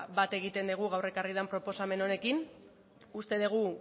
bat egiten dugu gaur ekarri den proposamen honekin uste dugu